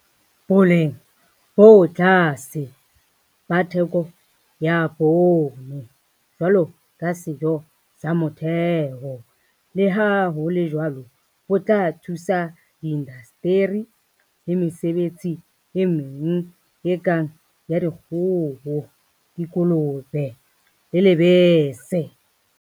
Boleng bo tlase ba theko ya poone jwalo ka sejo sa motheho, le ha ho le jwalo bo tla thusa diindasteri le mesebetsi e meng e kang ya dikgoho, dikolobe le lebese.